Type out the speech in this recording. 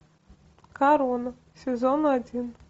корона сезон один